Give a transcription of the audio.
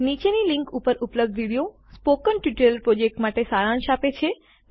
નીચેની લીંક ઉપર ઉપલબ્ધ વિડીયો સ્પોકન ટ્યુટોરિયલ પ્રોજેક્ટ માટે સારાંશ આપે છે